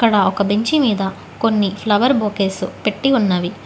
ఒక బెంచి మీద కొన్ని ఫ్లవర్ బొకేస్ పెట్టి ఉన్నవి.